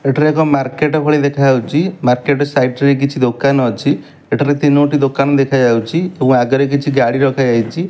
ଏଠାରେ ଏକ ମାର୍କେଟ ଭଳି ଦେଖା ଯାଉଚି। ମାର୍କେଟ ସାଇଟ୍ କିଛି ଦୋକାନ ଅଛି। ଏଠାରେ ତିନୋଟି ଦୋକନ ଦେଖାଯାଉଚି ଓ ଆଗରେ କିଛି ଗାଡ଼ି ରଖା ଯାଇଚି।